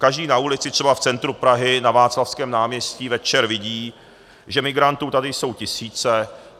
Každý na ulici, třeba v centru Prahy na Václavském náměstí, večer vidí, že migrantů tady jsou tisíce.